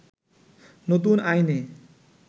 নতুন আইনে